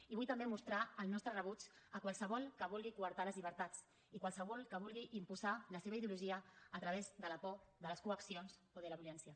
i vull també mostrar el nostre rebuig a qualsevol que vulgui coartar les llibertats i qualsevol que vulgui imposar la seva ideologia a través de la por de les coaccions o de la violència